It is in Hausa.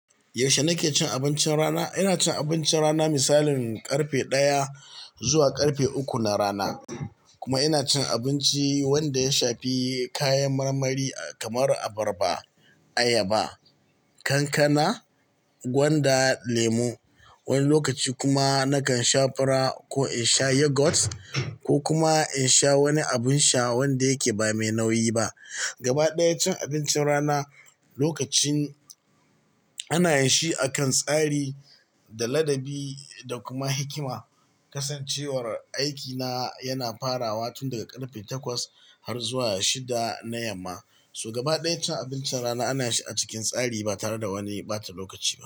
Yaushe nake cin abincin rana? Ina cin abincin rana misalin karfe ɗaya zuwa karfe uku na rana. Kuma ina cin abinci wanda ya shafi kayan marmari kamar abarba, ayaba, kankana, gwanda, lemu. Wani lokaci kuma nakan sha fura ko in sha yogurt ko kuma in sha wani abin sha wanda yake ba mai nauyi ba. Gaba ɗaya cin abincin rana lokacin ana yin shi akan tsari da ladabi da kuma hikima. Kasancewar aikina yana farawa tun daga karfe takwas har zuwa shida na yamma, so gaba ɗaya cin abincin rana ana shi a cikin tsari ba tare da wani ɓata lokaci ba.